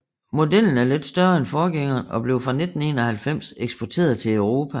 Modellen var lidt større end forgængeren og blev fra 1991 eksporteret til Europa